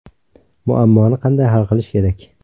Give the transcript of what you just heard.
Muammoni qanday hal qilish kerak?